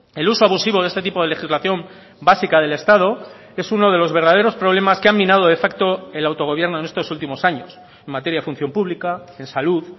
el uso abusivo de este tipo de legislación básica del estado es uno de los verdaderos problemas que han minado de facto el autogobierno en estos últimos años en materia de función pública en salud